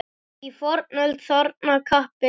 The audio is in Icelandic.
Í fornöld þarna kappi bjó.